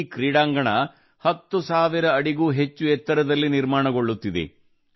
ಈ ಕ್ರೀಡಾಂಗಣ 10 ಸಾವಿರಕ್ಕೂ ಹೆಚ್ಚು ಎತ್ತರದಲ್ಲಿ ನಿರ್ಮಾಣಗೊಳ್ಳುತ್ತಿದೆ